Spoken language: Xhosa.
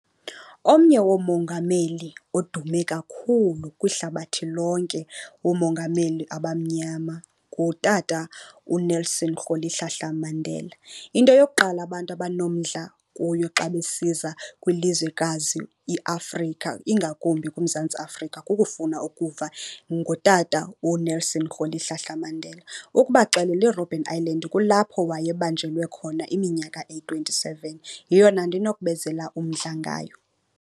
Omnye woomongameli odume kakhulu kwihlabathi lonke woomongameli abamnyama ngutata uNelson Rolihlahla Mandela. Into yokuqala abantu abanomdla kuyo xa besiza kwilizwekazi iAfrika, ingakumbi kuMzantsi Afrika, kukufuna ukuva ngotata uNelson Rolihlahla Mandela. Ukubaxelela iRobben Island kulapho wayebanjelwe khona iminyaka eyi-twenty-seven, yeyona nto inokubenzela umdla ngayo.